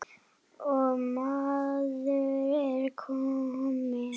og maður var kominn.